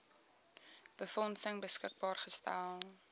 befondsing beskikbaar gestel